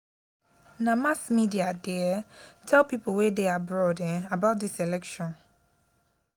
na mass media dey um tell pipo wey dey abroad um about dis election.